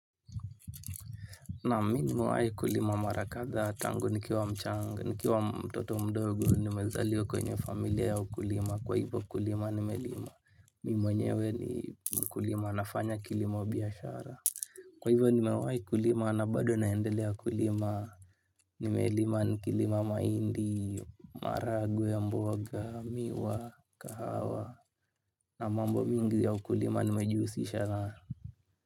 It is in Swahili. Naam mi nimewahi kulima mara kadhaa tangu nikiwa mchanga nikiwa mtoto mdogo nimezaliwa kwenye familia ya ukulima kwa hivyo kulima nimelima mimi mwenyewe ni mkulima nafanya kilimo wa biashara. Kwa hivo nimewahi kulima na bado naendelea kulima. Nimelima nikilima mahindi, maharagwe ya mboga, miwa, kahawa na mambo mingi ya ukulima nimejihusisha nayo.